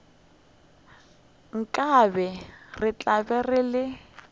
nkabe re be re le